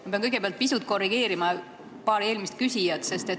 Ma pean kõigepealt pisut korrigeerima paari eelmist küsijat.